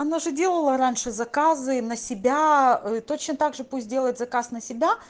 она же делала раньше заказы на себя ээ точно так же пусть делает заказ на себя